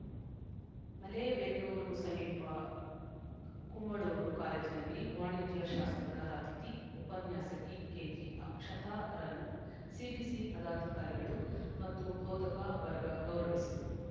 ಮಲೇಬೆನ್ನೂರು ಸಮೀಪ ಕುಂಬಳೂರು ಕಾಲೇಜಿನಲ್ಲಿ ವಾಣಿಜ್ಯ ಶಾಸ್ತ್ರದ ಅತಿಥಿ ಉಪನ್ಯಾಸಕಿ ಕೆಜಿ ಅಕ್ಷತಾರನ್ನು ಸಿಬಿಸಿ ಪದಾಧಿಕಾರಿಗಳು ಮತ್ತು ಬೋಧಕ ವರ್ಗ ಗೌರವಿಸಿತು